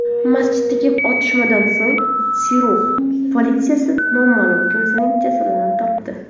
Masjiddagi otishmadan so‘ng Syurix politsiyasi noma’lum kimsaning jasadini topdi.